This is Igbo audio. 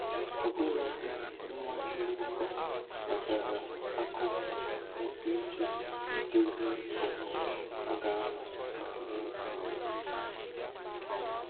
Ọbụladị nwa mgbọkọ wetara aka nkwụ iji dozie ọgbọ a ga-anọ mee mmemme um